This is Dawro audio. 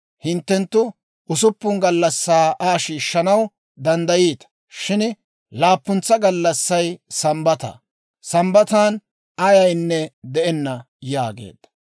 Hinttenttu usuppun gallassan Aa shiishshanaw danddayiita; shin laappuntsa gallassay Sambbata. Sambbatan ayaynne de'enna» yaageedda.